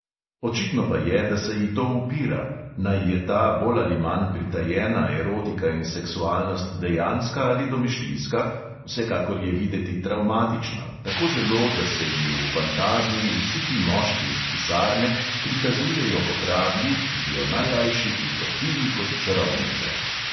Očitno pa je, da se ji to upira: naj je ta bolj ali manj pritajena erotika in seksualnost dejanska ali domišljijska, vsekakor je videti travmatična, tako zelo, da se ji v fantazmi vsi ti moški iz pisarne prikazujejo kot rablji, ki bi jo najrajši utopili kot čarovnico.